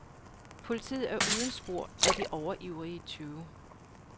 Politiet er uden spor af de overivrige tyve.